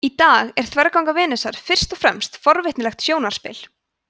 í dag er þverganga venusar fyrst og fremst forvitnilegt sjónarspil